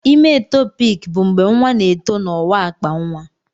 Ime etopik bụ mgbe nwa na-eto na ọwa akpa nwa.